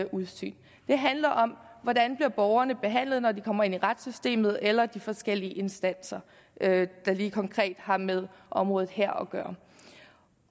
udsyn det handler om hvordan borgerne bliver behandlet når de kommer ind i retssystemet eller de forskellige instanser der lige konkret har med området her